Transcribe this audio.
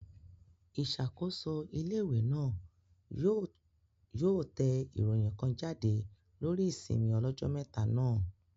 Ìṣàkóso ilé-ìwé náà yóò yóò tẹ ìròyìn kan jáde lórí ìsinmi ọlọ́jọ́ mẹ́ta náà